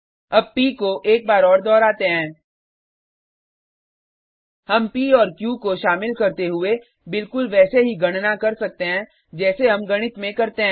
अब प को एक बार और दोहराते हैं हम प और क्यू को शामिल करते हुए बिलकुल वैसे ही गणना कर सकते हैं जैसे हम गणित में करते हैं